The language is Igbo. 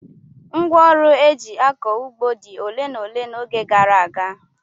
Ngwá ọrụ eji akọ ụgbọ dị ole na ole n'oge gara aga.